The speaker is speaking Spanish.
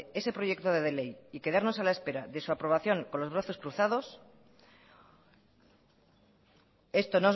ese proyecto de ley y quedarnos a la espera de su aprobación con los brazos cruzado